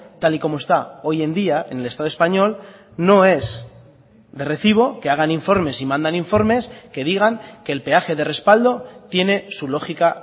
tal y como está hoy en día en el estado español no es de recibo que hagan informes y mandan informes que digan que el peaje de respaldo tiene su lógica